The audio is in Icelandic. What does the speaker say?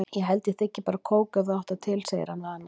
Ég held ég þiggi bara kók ef þú átt það til, segir hann við hana.